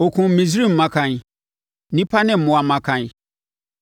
Ɔkumm Misraim mmakan, nnipa ne mmoa mmakan.